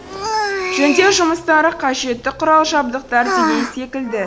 жөндеу жұмыстары қажетті құрал жабдықтар деген секілді